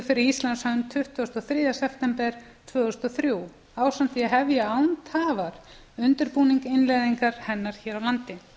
fyrir íslands hönd tuttugasta og þriðja september tvö þúsund og þrjú ásamt því að hefja án tafar undirbúning innleiðingar hennar hér á landi